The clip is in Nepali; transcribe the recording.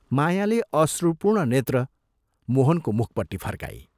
मायाले अश्रुपूर्ण नेत्र मोहनको मुखपट्टि फर्काई।